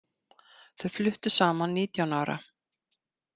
Þau fluttu saman nítján ára.